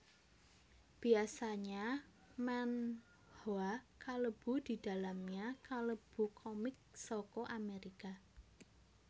Biasanya manhwa kalebu didalamnya kalebu comic saka amerika